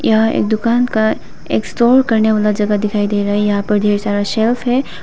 यह एक दुकान का एक स्टोर करने वाला जगह दिखाई दे रहा है यहां पर ढेर सारा सेफ है।